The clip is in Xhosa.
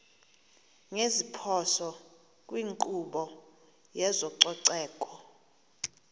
ngeziphoso kwinkqubo yezococeko